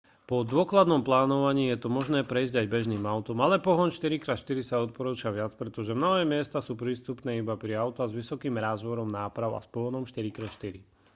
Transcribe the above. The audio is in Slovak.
po dôkladnom plánovaní je to možné prejsť aj bežným autom ale pohon 4x4 sa odporúča viac pretože mnohé miesta sú prístupné iba pre autá s vysokým rázvorom náprav a s pohonom 4x4